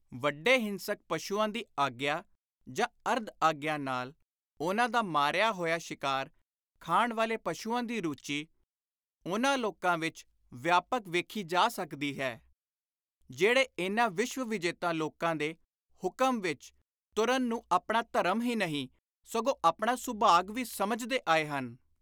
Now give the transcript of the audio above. ਵੱਡੇ ਹਿੰਸਕ ਪਸ਼ੂਆਂ ਦੀ ਆਗਿਆ ਜਾਂ ਅਰਧ-ਆਗਿਆ ਨਾਲ ਉਨ੍ਹਾਂ ਦਾ ਮਾਰਿਆ ਹੋਇਆ ਸ਼ਿਕਾਰ ਖਾਣ ਵਾਲੇ ਪਸ਼ੁਆਂ ਦੀ ਰੁਚੀ ਉਨ੍ਹਾਂ ਲੋਕਾਂ ਵਿਚ ਵਿਆਪਕ ਵੇਖੀ ਜਾ ਸਕਦੀ ਹੈ, ਜਿਹੜੇ ਇਨ੍ਹਾਂ ਵਿਸ਼ਵ-ਵਿਜੇਤਾ ਲੋਕਾਂ ਦੇ ਹੁਕਮ ਵਿਚ ਤੁਰਨ ਨੂੰ ਆਪਣਾ ਧਰਮ ਹੀ ਨਹੀਂ, ਸਗੋਂ ਆਪਣਾ ਸੁਭਾਗ ਵੀ ਸਮਝਦੇ ਆਏ ਹਨ।